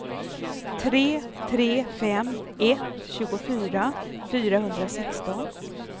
tre tre fem ett tjugofyra fyrahundrasexton